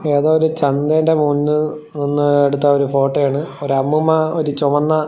ഏതോ ഒരു ചന്തേൻ്റെ മുന്നിൽ നിന്ന് എടുത്ത ഒരു ഫോട്ടോയാണ് ഒരു അമ്മൂമ്മ ഒരു ചൊവന്ന--